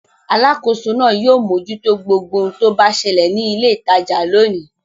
Alákòóso náà yóò mójútó gbogbo ohun tó bá ṣẹlẹ̀ ní ilé-ìtajà lónìí.